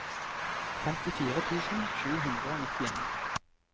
femtifire tusen sju hundre og nittien